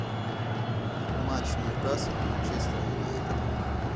матч ньюкасл и манчестер юнайтед